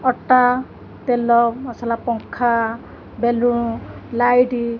ଅଟା ତେଲ ମସଲା ପଙ୍ଖା ବେଲୁନ୍ ଲାଇଟ୍ --